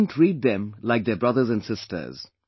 They even treat them like their brothers and sisters